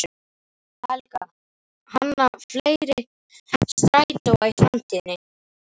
Helga: Hanna fleiri strætóa í framtíðinni?